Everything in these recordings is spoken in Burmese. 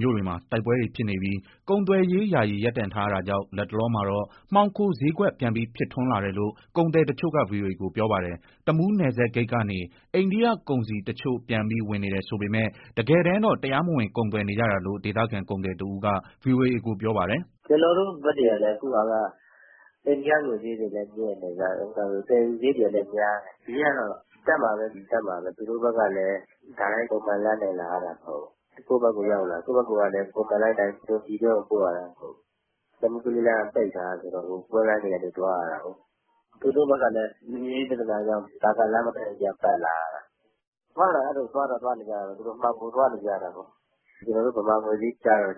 မြို့တွေမှာ တိုက်ပွဲတွေဖြစ်နေပြီး ကုန်သွယ်ရေး ယာယီ ရပ်တန့်ထားရတာကြောင့် လတ်တလောမှာတော့ မှောင်ခိုစျေးကွက် ပြန်ပြီး ဖြစ်ထွန်းလာတယ်လို့ ကုန်သည်တချို့က ဗွီအိုအေကို ပြောပါတယ်။ တမူးနယ်စပ်ဂိတ်ကနေ အိန္ဒိယကုန်စည်တချို့ ပြန်ပြီး ဝင်နေတယ်ဆိုပေမဲ့ တကယ်တမ်းတော့ တရားမဝင် ကုန်သွယ်နေကြတာလို့ ဒေသခံကုန်သည်တဦးက ဗွီအိုအေကို ပြောပါတယ်။ " ကျနော်တို့ဘက်တွေက အခုဟာက အိန္ဒိယငွေစျေးတွေလည်း မြင့်တယ်ဗျာ၊ သယ်ယူစရိတ်တွေလည်း များနေတယ်။ စျေးကတော့ တက်မှာပဲလေ တက်မှာပဲ၊ သူတို့ဘက်ကလည်း တိုက်ရိုက် ပုံမှန်လမ်းကနေ လာရတာမဟုတ်ဘူး၊ ကိုယ့်ဘက်ကိုရောက်လာ ကိုယ့်ဘက်ကလည်း ပုံမှန်လမ်းအတိုင်း ပြည်တွင်းကို ပို့ရတာမဟုတ်ဘူး။ တမူး-ကလေးလမ်းက ပိတ်ထားတာဆိုတော့ ကွင်းလမ်းတွေကနေ သွားရတာကိုး။ သူတို့ဘက်ကလည်း လူမှုရေး ပြဿနာတွေကြောင့် နာဂလမ်းဘက်ကနေ ပတ်လာရတာ။ သွားတာကတော့ သွားတော့ သွားနေကြတာပဲ မှောင်ခိုသွားနေကြတာပေါ့။ ကျနော်တို့ မြန်မာငွေစျေး ကျတော့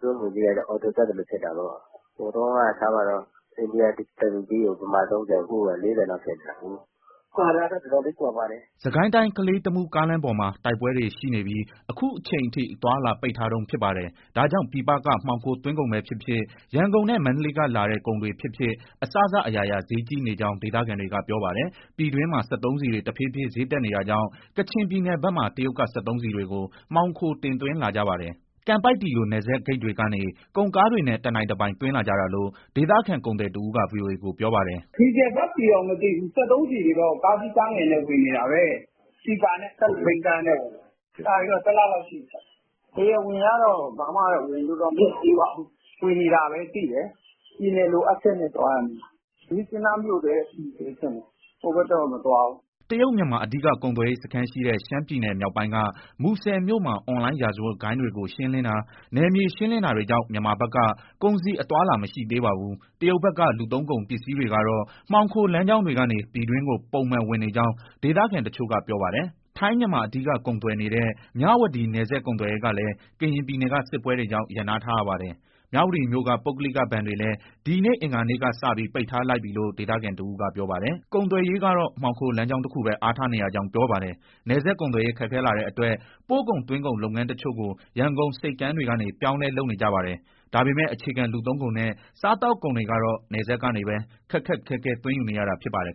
သူတို့ငွေစျေးက အော်တိုတက်သလို ဖြစ်တာပေါ့၊ ဟိုတုန်းက ထားပါတော့ အိန္ဒိယတရူးပီးကို မြန်မာ၃၀၊ အခုဟာက ၄၀လောက်ဖြစ်နေတာကိုး။ ကွာတာက အတော်လေး ကွာပါတယ်။" စစ်ကိုင်းတိုင်း ကလေး-တမူး ကားလမ်းပေါ်မှာ တိုက်ပွဲတွေရှိနေပြီး အခုအချိန်အထိ အသွားအလာ ပိတ်ထားတုန်း ဖြစ်ပါတယ်။ ဒါကြောင့် ပြည်ပက မှောင်ခိုသွင်းကုန်ပဲဖြစ်ဖြစ်၊ ရန်ကုန်နဲ့ မန္တလေးကလာတဲ့ ကုန်တွေဖြစ်ဖြစ် အစစအရာရာ စျေးကြီးနေကြောင်း ဒေသခံတွေက ပြောပါတယ်။ ပြည်တွင်းမှာ စက်သုံးဆီတွေ တဖြည်းဖြည်း စျေးတက်နေတာကြောင့် ကချင်ပြည်နယ်ဘက်မှာ တရုတ်က စက်သုံးဆီတွေကို မှောင်ခို တင်သွင်းလာကြပါတယ်။ ကန်ပိုက်တီလို နယ်စပ်ဂိတ်တွေကနေ ကုန်ကားတွေနဲ့ တနိုင်တပိုင် သွင်းလာကြတာလို့ ဒေသခံကုန်သည်တဦးက ဗွီအိုအေကို ပြောပါတယ်။ " ဒီဇယ်၊ ဓာတ်ဆီတော့မသိဘူး စက်သုံးဆီတွေတော့ ကားကြီးကားငယ်တွေနဲ့ ဝင်နေတာပဲ၊ ပီပါနဲ့ ၁၂ဘီးကားနဲ့ဝင်တာ။ ကြာပြီပေါ့ တလလောက်ရှိပြီ။ တရားဝင်ကတော့ ဘာမှတော့ ဝင်လို့တော့ မရသေးပါဘူး၊ ဝင်နေတာပဲသိတယ်။ ပြည်နယ်လိုအပ်ချက်နဲ့ သွားတာနေမှာ။ မြစ်ကြီးနားမြို့ထဲ အထိပဲထင်တယ် ဟိုဘက် တော့ မသွားဘူး။" တရုတ်-မြန်မာ အဓိက ကုန်သွယ်ရေးစခန်းရှိတဲ့ ရှမ်ပြည်နယ်မြောက်ပိုင်းက မူဆယ်မြို့မှာ အွန်လိုင်းရာဇဝတ်ဂိုဏ်းတွေကို ရှင်းလင်းတာ၊ နယ်မြေ ရှင်းလင်းတာတွေကြောင့် မြန်မာဘက်က ကုန်စည် အသွားအလာမရှိသေးပါဘူး။ တရုတ်ဘက်က လူသုံးကုန် ပစ္စည်းတွေကတော့ မှောင်ခိုလမ်းကြောင်းတွေကနေ ပြည်တွင်းကို ပုံမှန်ဝင်နေကြောင်း ဒေသခံတချို့က ပြောပါတယ်။ ထိုင်း-မြန်မာ အဓိကကုန်သွယ်နေတဲ့ မြဝတီ နယ်စပ်ကုန်သွယ်ရေးကလည်း ကရင်ပြည်နယ်က စစ်ပွဲတွေကြောင့် ရပ်နားထားရပါတယ်။ မြဝတီမြို့က ပုဂ္ဂလိက ဘဏ်တွေလည်း ဒီနေ့အင်္ဂါနေ့ကစပြီး ပိတ်ထားလိုက်ပြီလို့ ဒေသခံတဦးက ပြောပါတယ်။ ကုန်သွယ်ရေးကတော့ မှောင်ခို လမ်းကြောင်းတခုပဲ အားထားနေရကြောင်း ပြောပါတယ်။ နယ်စပ်ကုန်သွယ်ရေး ခက်ခဲလာတဲ့အတွက် ပို့ကုန်၊ သွင်းကုန် လုပ်ငန်းတချို့ကို ရန်ကုန်ဆိပ်ကမ်းတွေကနေ ပြောင်းလဲ လုပ်နေကြပါတယ်။ ဒါပေမဲ့ အခြေခံ လူသုံးကုန်နဲ့ စားသောက်ကုန်တွေကတော့ နယ်စပ်ကနေပဲ ခက်ခက်ခဲခဲ သွင်းယူနေရတာ ဖြစ်ပါတယ်